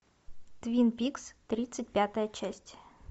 твин пикс тридцать пятая часть